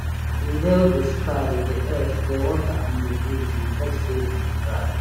we hail the sky the earth the water and the breeze we talk say them try